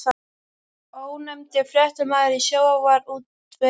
Ónefndur fréttamaður: Í sjávarútvegi?